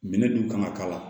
Minɛn dun kan ka k'a la